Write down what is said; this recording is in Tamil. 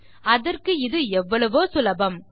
அதற்கு இது எவ்வளவோ சுலபம்